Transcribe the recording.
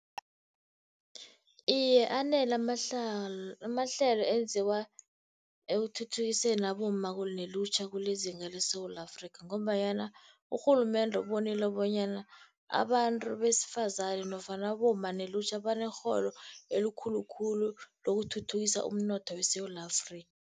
Iye, anele amahlelo enziwa ekuthuthukiseni abomma nelutjha kulezinga leSewula Afrika, ngombanyana urhulumende ubonile bonyana abantu besifazane, nofana abomma nelutjha banekghono elikhulu khulu lokuthuthukisa umnotho weSewula Afrika.